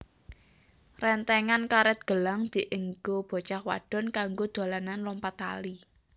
Rentengan karet gelang dienggo bocah wadon kanggo dolanan lompat tali